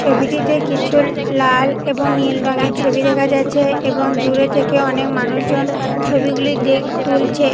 ছবিটিতে কিছু লাল এবং নীল রঙের ছবি দেখা যাচ্ছে এবং দূরে থেকে অনেক মানুষজন ছবিগুলি দে তুলছে।